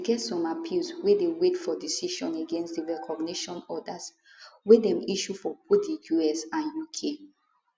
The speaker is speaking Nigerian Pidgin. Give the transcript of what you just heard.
e get some appeals wey dey wait for decision against di recognition orders wey dem issue for both di us and uk